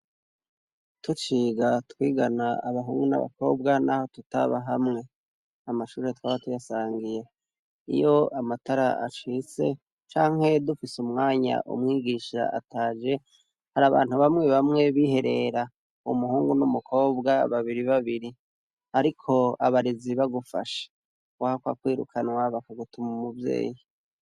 Tuciga twigana abahungu n'abakobwa naho tutaba hamwe, amashure twaba tuyasangiye iyo amatara ashitse canke dufise umwanya umwigisha ataje harabantu bamwe bamwe biherera umuhungu n'umukobwa babiri babiri, ariko abarezi bagufashe wahakwa kwirukanwa bakagutuma umuvyeyi.